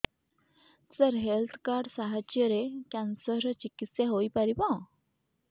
ସାର health card ସାହାଯ୍ୟରେ cancer ର ଚିକିତ୍ସା ହେଇପାରିବ